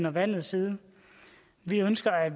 og vandets side vi ønsker at